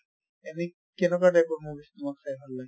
এনে কেনেকুৱা type ৰ movies তোমাক ভাল লাগে?